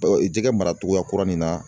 jɛgɛ maracogoya kura nin na